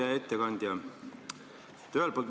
Hea ettekandja!